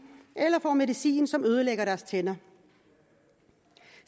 eller som får medicin som ødelægger deres tænder